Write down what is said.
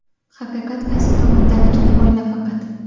haqiqat qaysi tomondaligini o‘yla faqat.